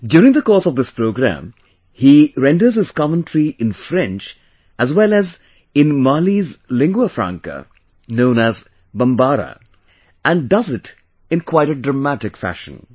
During the course of this program, he renders his commentary in French as well as in Mali's lingua franca known as Bombara, and does it in quite a dramatic fashion